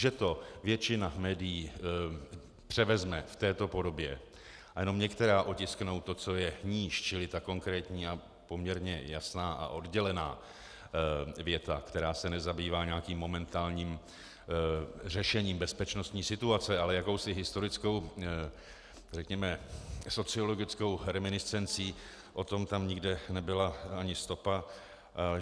Že to většina médií převezme v této podobě a jenom některá otisknou to, co je níž, čili ta konkrétní a poměrně jasná a oddělená věta, která se nezabývá nějakým momentálním řešením bezpečnostní situace, ale jakousi historickou, řekněme sociologickou, reminiscencí, o tom tam nikde nebyla ani stopa.